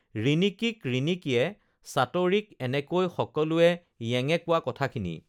ৰিণিকীক ৰিণি‍কীয়ে চাটৰিক এনেকৈ সকলোৱে য়েঙে কোৱা কথাখিনি